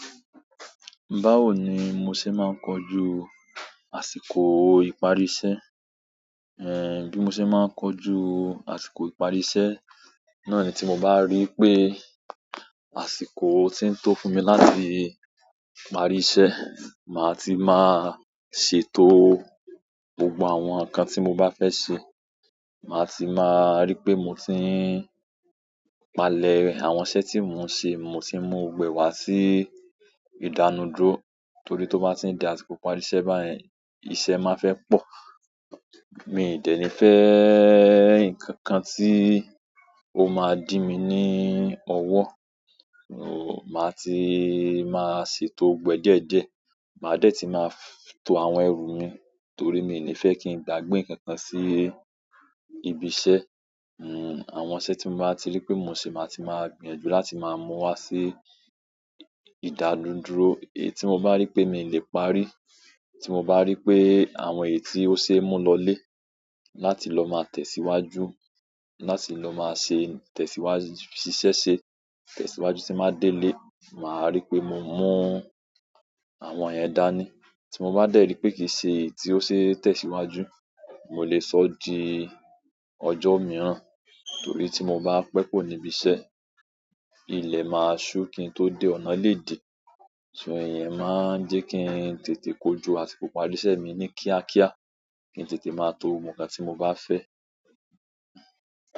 Báwo ni mo ṣe máa ń kojú àsìkò ìparí iṣẹ́? Eh, bí mo ṣe máa ń kojú àsìkò ìparí iṣẹ́, náà ni tí mo bá rí i pé àsìkò ti ń tó fún mi láti parí iṣẹ́, màá ti máa ṣètò gbogbo àwọn nǹkan tí mo bá fẹ́ ṣe. Màá ti máa rí pé mo ti ń palẹ̀ àwọn iṣẹ́ tí mò ń ṣe, mo ti ń mú ogbo ẹ wá sí ìdánuduró torí tó bá ti ń di àsíko ìparí iṣẹ́ báyẹn, iṣẹ́ máa fẹ́ pọ̀. Mi i de ni fe nkankan ti o maa di mi ni owo, o maa ti maa ṣètò ogbo e díẹ̀díẹ̀, maa de ti maa to àwọn eru mi torí mi i ni de ki n gbagbe nkankan si ibi iṣẹ́. Hmm, àwọnṣẹ́ tí n bá ti rí pé mo n ṣe, màá ti máa gbìyànjú láti máa mú wá sí ìdádúró. Èyí tí mo bá rí pé mi ò lè parí, tí mo bá rí pé àwọn èyí tí ó ṣe é mú lọlé láti lọ máa tẹ̀síwájú, láti lọ máa ṣe tẹ̀síwájú ṣiṣẹ́ ṣe, tẹ̀síwájú tí n máa délé, màá rí pé mo mú àwọn ẹ̀yẹn dání. Tí mo bá dẹ́ rí pé kì í ṣe èyí tí ó ṣe tẹ̀síwájú, mò lè sọ di ọjọ́ mìíràn. Torí tí mo bá pẹ́ kuò níbiṣẹ́, ilẹ̀ máa ṣú kí n tó dé ọ̀nà lé di. Ṣùgbọ́n iyẹn máa ń jẹ́ kí n tètè kojú àsìkò ìparí iṣẹ́ mi ní kíákíá, kí n tètè máa to ogbo ǹkan tí mo bá fẹ́.